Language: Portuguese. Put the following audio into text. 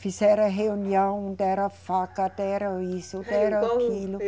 Fizeram reunião, deram faca, deram isso, deram aquilo.